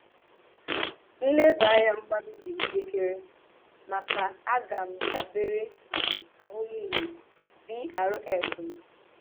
Nlébànya mmanụ dị njìkèrè maka aghà m dábèrè na ahụ́mìhè BRF m